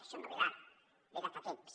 això no ve d’ara ve de fa temps